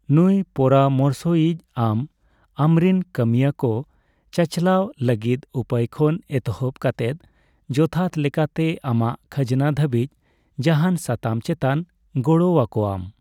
ᱱᱩᱭ ᱯᱚᱨᱟᱢᱚᱥᱭᱤᱪ ᱟᱢ ᱟᱢᱨᱤᱱ ᱠᱟᱹᱢᱤᱭᱟᱹ ᱠᱚ ᱪᱟᱪᱞᱟᱣ ᱞᱟᱹᱜᱤᱫ ᱩᱯᱟᱹᱭ ᱠᱷᱚᱱ ᱮᱛᱚᱦᱚᱵ ᱠᱟᱛᱮᱫ ᱡᱚᱛᱷᱟᱛ ᱞᱮᱠᱟᱛᱮ ᱟᱢᱟᱜ ᱠᱷᱟᱡᱱᱟ ᱫᱷᱟᱹᱵᱤᱡ ᱡᱟᱦᱟᱱ ᱥᱟᱛᱟᱢ ᱪᱮᱛᱟᱱ ᱜᱚᱲᱚ ᱟᱠᱳᱣᱟᱢ ᱾